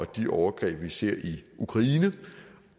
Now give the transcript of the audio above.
de overgreb vi ser i ukraine